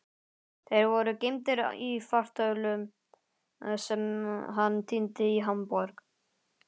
Þeir voru geymdir í fartölvu sem hann týndi í Hamborg.